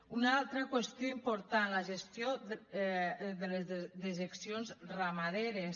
una altra qüestió important la gestió de les dejeccions ramaderes